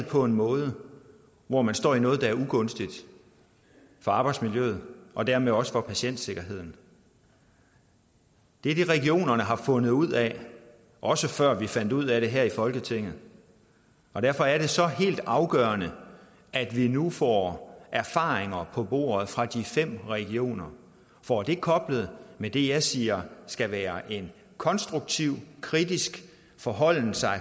på en måde hvor man står i noget der er ugunstigt for arbejdsmiljøet og dermed også for patientsikkerheden det er det regionerne har fundet ud af også før vi fandt ud af det her i folketinget og derfor er det så helt afgørende at vi nu får erfaringer på bordet fra de fem regioner får det koblet med det jeg siger skal være en konstruktiv kritisk forholden sig